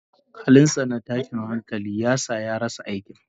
Halinsa na tashin hankali ya sa ya rasa aikin.